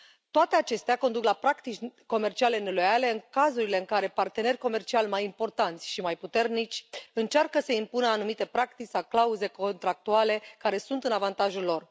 Toate acestea conduc la practici comerciale neloiale în cazurile în care partenerii comerciali mai importanți și mai puternici încearcă să impună anumite practici sau clauze contractuale care sunt în avantajul lor.